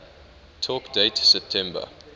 talk date september